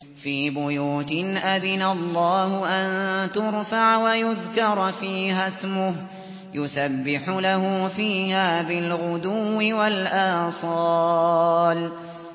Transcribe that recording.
فِي بُيُوتٍ أَذِنَ اللَّهُ أَن تُرْفَعَ وَيُذْكَرَ فِيهَا اسْمُهُ يُسَبِّحُ لَهُ فِيهَا بِالْغُدُوِّ وَالْآصَالِ